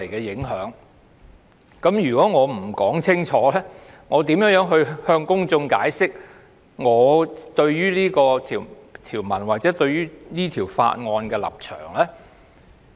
如果我不解釋清楚，怎能令公眾明白我對《條例草案》或這項修正案的立場？